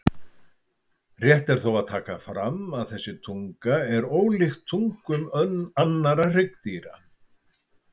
Rétt er þó að taka fram að þessi tunga er ólíkt tungum annarra hryggdýra.